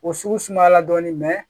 O sugu sumayala dɔɔnin mɛ